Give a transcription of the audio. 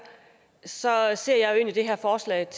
så